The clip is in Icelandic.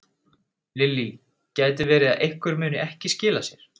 Lillý: Gæti verið að einhver muni ekki skila sér?